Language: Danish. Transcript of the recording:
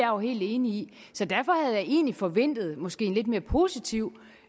jo helt enig i så derfor havde jeg egentlig forventet en måske lidt mere positiv